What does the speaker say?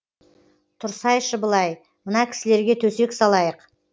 тұрсайшы былай мына кісілерге төсек салайық